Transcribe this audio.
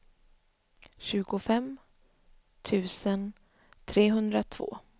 tjugofem tusen trehundratvå